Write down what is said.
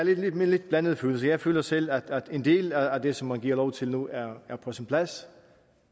med lidt blandede følelser jeg føler selv at en del af det som man giver lov til nu er er på sin plads